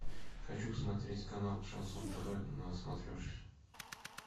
хочу посмотреть канал шансон тв на смотрешке